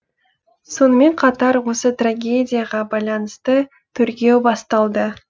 сонымен қатар осы трагедияға байланысты тергеу басталды